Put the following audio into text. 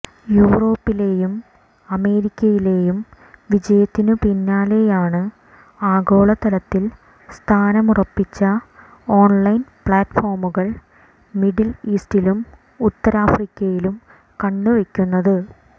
യൂറോപ്പിലേയും അമേരിക്കയിലേയും വിജയത്തിനു പിന്നാലെയാണ് ആഗോള തലത്തിൽ സ്ഥാനമുറപ്പിച്ച ഓൺലൈൻ പ്ലാറ്റ്ഫോമുകൾ മിഡിൽ ഈസ്റ്റിലും ഉത്തരാഫ്രിക്കയിലും കണ്ണുവെക്കുന്നത്